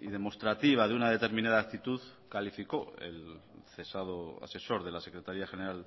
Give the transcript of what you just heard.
y demostrativa de una determinada actitud calificó el cesado asesor de la secretaría general